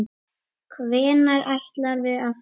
Hvenær ætlarðu að fara?